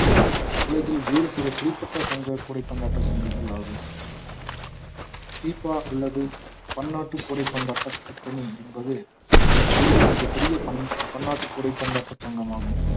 உலகில் வேறு சில குறிப்பிட்ட சங்க கூடை பந்தாட்ட சங்கங்கள் ஆகும் பீபா அல்லது பன்னாட்டு கூடை பந்தாட்ட கூட்டணி என்பது உலகில் மிகப் பெரிய பன்~ பன்னாட்டு கூடை பந்தாட்ட சங்கமாகும்